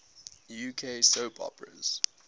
uk soap operas